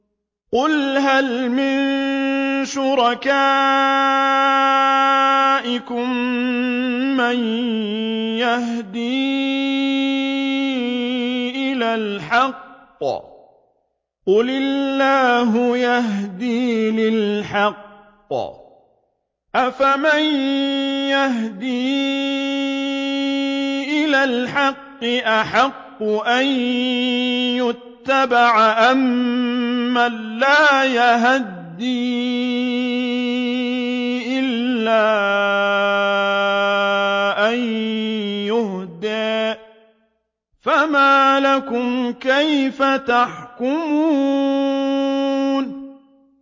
قُلْ هَلْ مِن شُرَكَائِكُم مَّن يَهْدِي إِلَى الْحَقِّ ۚ قُلِ اللَّهُ يَهْدِي لِلْحَقِّ ۗ أَفَمَن يَهْدِي إِلَى الْحَقِّ أَحَقُّ أَن يُتَّبَعَ أَمَّن لَّا يَهِدِّي إِلَّا أَن يُهْدَىٰ ۖ فَمَا لَكُمْ كَيْفَ تَحْكُمُونَ